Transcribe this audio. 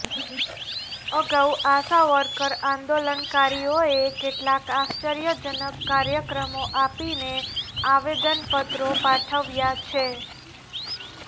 અગાઉ આશા વર્કર આંદોલનકારીઓએ કેટલાંક આશ્ચર્ય જનક કાર્યક્રમો આપીને આવેદનપત્રો પાઠવ્યા છે